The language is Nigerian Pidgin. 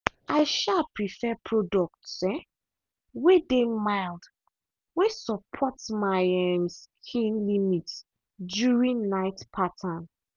i um prefer product um way dey mild way support my um skin limit during night pattern.